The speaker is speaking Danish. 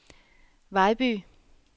Vejby